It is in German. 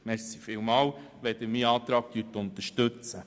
Ich danke Ihnen, wenn Sie meinen Antrag unterstützen.